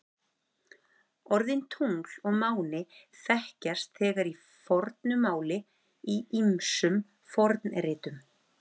Orðin tungl og máni þekkjast þegar í fornu máli í ýmsum fornritum.